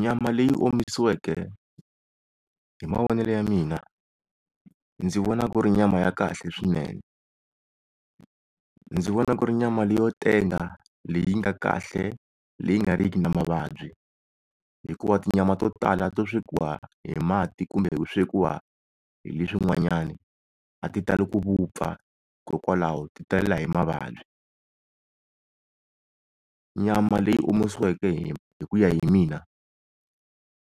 Nyama leyi omisiweke hi mavonele ya mina ndzi vona ku ri nyama ya kahle swinene, ndzi vona ku ri nyama leyi yo tenga leyi nga kahle leyi nga riki na mavabyi hikuva tinyama to tala to swekiwa hi mati kumbe ku swekiwa hi leswi n'wanyani a ti tali ku vupfa, hikokwalaho ti talela hi mavabyi. Nyama leyi omisiweke hi hi ku ya hi mina